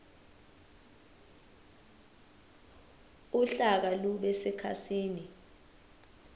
uhlaka lube sekhasini